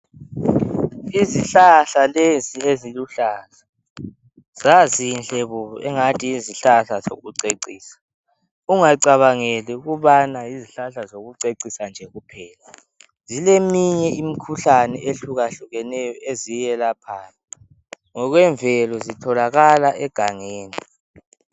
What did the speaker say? izihlahla lezi eziluhlaza zazinhle bo engathi yizihlahla zokucecisa ungacabangeli ukubana yizihlahla zokucecisa nje kuphela zileminye imikhuhlane eyehlukahlukaneyo eziyilaphayo ngokwemvelo zitholakalaegangeni